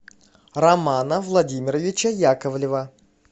романа владимировича яковлева